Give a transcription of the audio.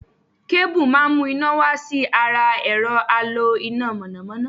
Kébù má mu ́ iná wá sí ara ẹ̀rọ̀ alo iná mọ̀nàmọ́ná.